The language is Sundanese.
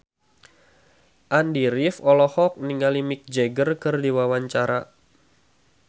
Andy rif olohok ningali Mick Jagger keur diwawancara